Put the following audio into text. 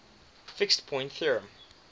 fixed point theorem